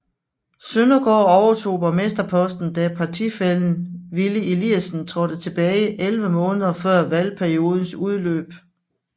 Søndergaard overtog borgmsterposten da partifællen Willy Eliasen trådte tilbage 11 måneder før valgperiodens udløb